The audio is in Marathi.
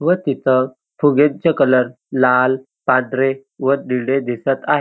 व तिथं फुग्यांचा कलर लाल पांढरे व निळे दिसत आहे.